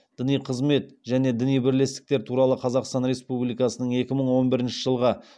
діни қызмет және діни бірлестіктер туралы қазақстан республикасының екі мың он бірінші жылғы